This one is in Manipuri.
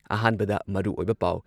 ꯑꯍꯥꯥꯟꯕꯗ ꯃꯔꯨꯑꯣꯏꯕ ꯄꯥꯎ